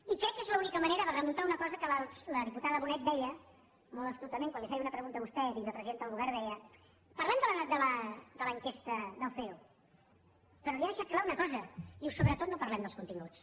i crec que és l’única manera de remuntar una cosa que la diputada bonet deia molt astutament quan li feia una pregunta a vostè vicepresidenta del govern deia parlem de l’enquesta del ceo però li ha deixat clara una cosa diu sobretot no parlem dels continguts